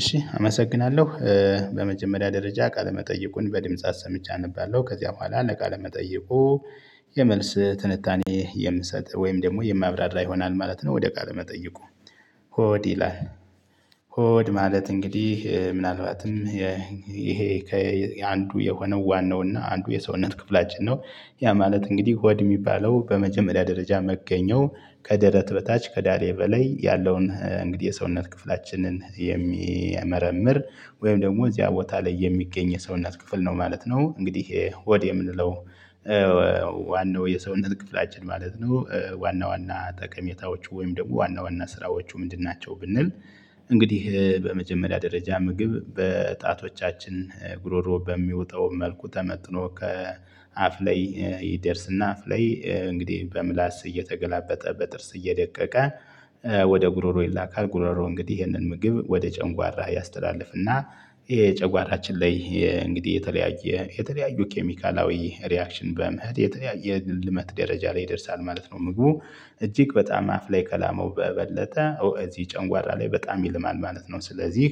እሺ አመሰግናለሁ በመጀመሪያ ደረጃ ቃለ መጠይቁን በድምጽ አሰምቸ አነባለሁ። ከዚያ በኋላ ለቃለ መጠይቁ የመልስ ትንታኔ የምሰጥ ወይም ደግሞ የማብራራ ይሆናል ማለት ነው። ወደ ቃለመጠይቁ ሆድ ይላል። ሆድ ማለት እንግዲህ ምናልባትም ይሄ ከአንዱ የሆነው ዋናው እና አንዱ የሰውነት ክፍላችን ነው። ያ ማለት እንግዲህ ሆድ የሚባለው በመጀመሪያ ደረጃ መገኛው ከደረት በታች ከዳሌ በላይ ያለውን እንግዲህ የሰውነት ክፍላችንን የሚመረምር ወይም ደግሞ እዚያ ቦታ ላይ የሚገኝ የሰውነት ክፍል ነው ማለት ነው። እንግዲህ ሆድ የምንለው ዋናው የሰውነት ክፍላችን ማለት ነው። ዋና ዋና ጠቀሜታዎቹ ወይም ደግሞ ዋና ዋና ስራዎቹ ምንድን ናቸው? ብንል እንግዲህ በመጀመሪያ ደረጃ ምግብ በጣቶቻችን ጉሮሮ በሚውጠው መልኩ ተመጥኖ ከአፍ ላይ ይደርስና አፍ ላይ እንግዲህ በምላስ እየተገላበጠ በጥርስ እየደቀቀ ወደ ጉሮሮ ይላካል። ጉሮሮ እንግዲህ ይሄንን ምግብ ወደ ጨንጓራ ያስተላልፍና እና የጨጓራችን ላይ እንግዲህ የተለያየ የተለያዩ ኬሚካላዊ ሪያክሽን በመኸድ የተለያየ የልመት ደረጃ ላይ ይደርሳል ማለት ነው። ምግቡ እጅግ በጣም አፍ ላይ ከላመው በበለጠ እዚህ ጨንጓራ ላይ በጣም ይልማል ማለት ነው። ስለዚህ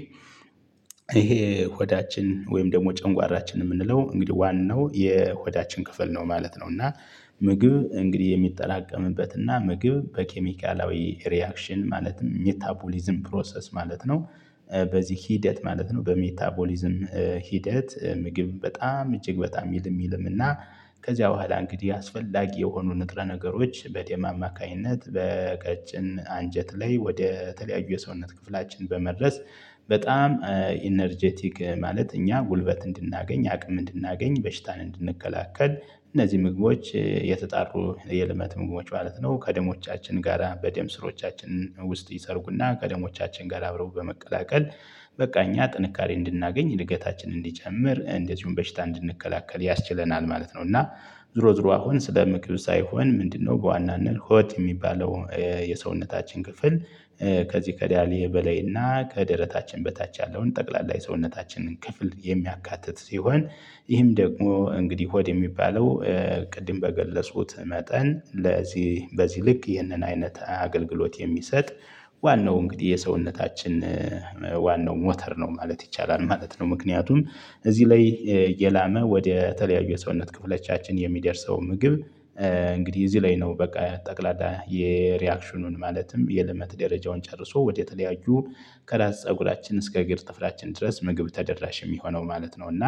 ይሄ ሆዳችን ወይም ደግሞ ጨንጓራችን እምንለው እንግዲህ ዋናው የሆዳችን ክፍል ነው ማለት ነው። እና ምግብ እንግዲህ የሚጠራቀምበት እና ምግብ በኬሚካላዊ ሪያክሽን ማለት ሜታቦሊዝም ፕሮሰስ ማለት ነው። በዚህ ሂደት ማለት ነው በሜታቦሊዝም ሂደት ምግብ በጣም እጅግ በጣም ይልም ይልም እና ከዚያ በኋላ እንግዲህ አስፈላጊ የሆኑ ንጥረ ነገሮች በደም አማካኝነት በቀጭን አንጀት ላይ ወደ ተለያዩ የሰውነት ክፍላችን በመድረስ በጣም ኢነርጀቲክ ማለት እኛ ጉልበት እንድናገኝ አቅም እንድናገኝ በሽታን እንድንከላከል እነዚህ ምግቦች የተጣሩ የልመት ምግቦች ማለት ነው። ከደሞቻችን ጋራ በደም ስሮቻችን ውስጥ ይሰርጉና ከደሞቻችን ጋራ አብረው በመቀላቀል በቃ እኛ ጥንካሬ እንድናገኝ እድገታችንን እንዲጨምር እንደዚሁም በሽታ እንድንከላከል ያስችለናል ማለት ነው። እና ዙሮ ዙሮ አሁን ስለ ምግብ ሳይሆን ምንድነው? በዋናነት ሆድ የሚባለው የሰውነታችን ክፍል ከዚህ ከዳሊ በላይና ከደረታችን በታች ያለውን ጠቅላላ የሰውነታችንን ክፍል የሚያካትት ሲሆን። ይህም ደግሞ እንግዲህ ሆድ የሚባለው ቅድም በገለጹት መጠን ለዚህ በዚህ ልክ ይህንን አይነት አገልግሎት የሚሰጥ ዋናው እንግዲህ የሰውነታችን ዋናው ሞተር ነው ማለት ይቻላል ማለት ነው። ምክንያቱን እዚህ ላይ የላመ ወደ ተለያዩ የሰውነት ክፍለቻችን የሚደርሰው ምግብ እንግዲህ እዚህ ላይ ነው በቃ ጠቅላላ የሪያክሽኑን ማለትም የልመት ደረጃውን ጨርሶ ወደተለያዩ ከራስ ፀጉራችን እስከ እግር ጥፍራችን ድረስ ምግብ ተደራሽ እሚሆነው ማለት ነው። እና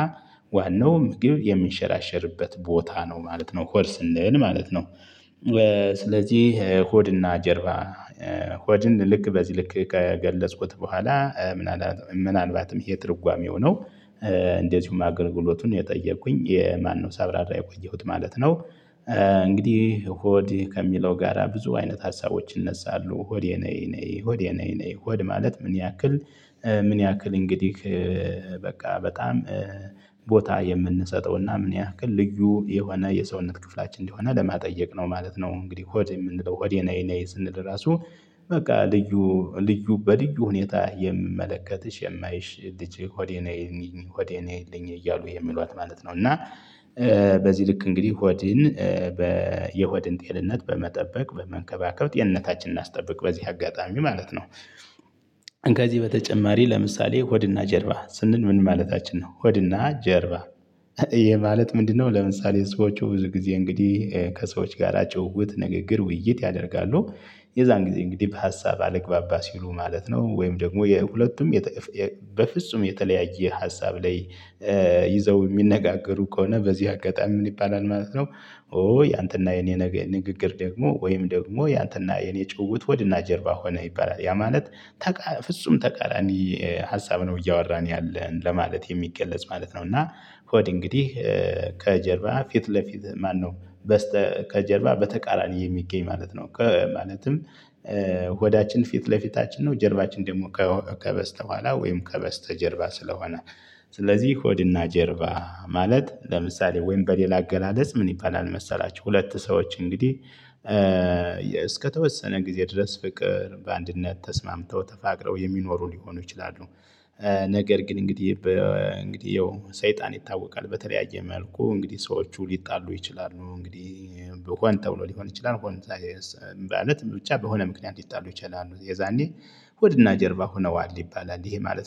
ዋናው ምግብ የሚንሸራሸርበት ቦታ ነው ማለት ነው ሆድ ስንል ማለት ነው። ስለዚህ ሆድና ጀርባ ሆድን ልክ በዚህ ልክ ከገለጽኩት በኋላ ምናልባትም ይሄ ትርጓሜው ነው። እንደዚሁም አገርግሎቱን የጠየኩኝ ማነው ሳብራራ የቆየሁት ማለት ነው። እንግዲህ ሆድ ከሚለው ጋራ ብዙ አይነት ሀሳቦች ይነሳሉ ሆድ የኔ ኔ ሆድ የኔ ኔ ሆድ ማለት ምን ያክል? ምን ያክል እንግዲህ በቃ በጣም ቦታ የምንሰጠውና ምን ያህል ልዩ የሆነ የሰውነት ክፍላችን እንዲሆነ ለማጠየቅ ነው ማለት ነው። እንግዲህ ሆድ የምንለው ሆዴ ነይ ነይ ስንል ራሱ በቃ ልዩ ልዩ በልዩ ሁኔታ የምመለከትሽ የማይሽ ልጅ ሆዴ ነይልኝ ሆዴ ነይልኝ እያሉ የሚሏት ማለት ነው። እና በዚህ ልክ እንግዲህ ሆድን የሆድን ጤንነት በመጠበቅ በመንከባከብ ጤንነታችንን አናስጠብቅ በዚህ አጋጣሚ ማለት ነው። ከዚህ በተጨማሪ ለምሳሌ ሆድና ጀርባ ስንል ምን ማለታችን ነው? ሆድና ጀርባ ይኸ ማለት ምንድነው? ለምሳሌ ሰዎቹ ብዙ ጊዜ እንግዲህ ከሰዎች ጋር ጨውውት ንግግር ውይይት ያደርጋሉ። የዛን ጊዜ እንግዲህ በሀሳብ አልግባባ ሲሉ ማለት ነው ወይም ደግሞ የሁለቱም በፍጹም የተለያየ ሀሳብ ላይ ይዘው እሚነጋገሩ ከሆነ በዚህ አጋጣሚ ምን ይባላል ማለት ነው። ኦ ያንተና የኔ ንግግር ደግሞ ወይም ደግሞ ያንተና የኔ ጭውውት ሆድና ጀርባ ሆነ ይባላል ያ ማለት ፍጹም ተቃራኒ ሀሳብ ነው እያወራን ያለን ለማለት የሚገለጽ ማለት ነው። እና ሆድ እንግዲህ ከጀርባ ፊት ለፊት ማነው? ከጀርባ በተቃራኒ የሚገኝ ማለት ነው። ማለትም ሆዳችን ፊት ለፊታችን ነው። ጀርባችን ደግሞ ከበስተኋላ ወይም ከበስተጀርባ ስለሆነ። ስለዚህ ሆድና ጀርባ ማለት ለምሳሌ ወይም በሌላ አገላለጽ ምን ይባላል? መሰላችሁ ሁለት ሰዎች እንግዲህ እስከተወሰነ ጊዜ ድረስ ፍቅር በአንድነት ተስማምተው ተፋቅረው የሚኖሩ ሊሆኑ ይችላሉ። ነገር ግን እንግዲህ ያው ሰይጣን ይታወቃል በተለያየ መልኩ እንግዲህ ሰዎቹ ሊጣሉ ይችላሉ እንግዲህ ሆን ተብሎ ሊሆን ይችላል። ማለት ብቻ በሆነ ምክንያት ሊጣሉ ይችላሉ የዛኔ ሆድና ጀርባ ሆነዋል ይባላል ይሄ ማለት ነው